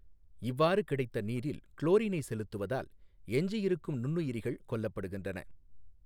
இவ்வாறு கிடைத்த நீாில் குளோாினை செலுத்துவதால் எஞ்சியிருக்கும் நுண்ணுயிாிகள் கொல்லப்படுகின்றன.